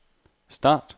start